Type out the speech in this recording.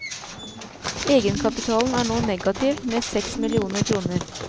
Egenkapitalen er nå negativ med seks millioner kroner.